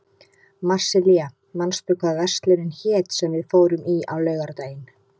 Marsilía, manstu hvað verslunin hét sem við fórum í á laugardaginn?